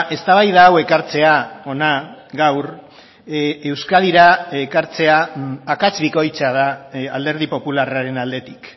eztabaida hau ekartzea hona gaur euskadira ekartzea akats bikoitza da alderdi popularraren aldetik